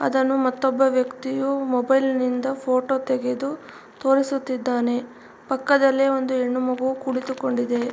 ಅದನ್ನು ಮತ್ತೊಬ್ಬ ವ್ಯಕ್ತಿಯು ಮೊಬೈಲ್ ನಿಂದ ಫೋಟೋ ತೆಗೆದು ತೋರಿಸುತ್ತಿದ್ದಾನೆ. ಪಕ್ಕದಲ್ಲಿ ಒಂದು ಹೆಣ್ಣು ಮಗು ಕುಳಿತುಕೊಂಡಿದೆ.